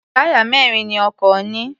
Táyà mẹ́rin ni ọkọ̀ ní.